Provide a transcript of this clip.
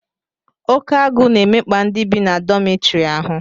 Oke agụụ na-emekpa ndị bi na dọmịtọrị ahụ